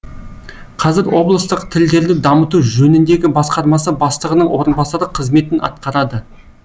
қазір облыстық тілдерді дамыту жөніндегі басқармасы бастығының орынбасары қызметін атқарады